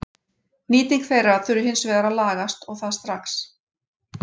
Nýting þeirra þurfi hins vegar að lagast og það strax.